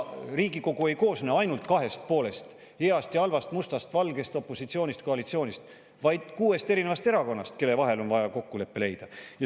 Riigikogu ei koosne ainult kahest poolest – heast ja halvast, mustast ja valgest, opositsioonist ja koalitsioonist –, vaid kuuest erakonnast, kelle vahel on vaja kokkulepe leida.